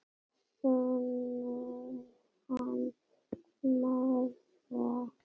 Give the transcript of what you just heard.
Sonur hans Smára.